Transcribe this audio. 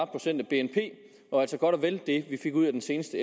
procent af bnp og altså godt og vel det vi fik ud af den seneste